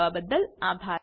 જોડાવા બદલ આભાર